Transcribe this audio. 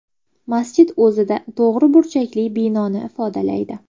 Masjid o‘zida to‘g‘ri burchakli binoni ifodalaydi.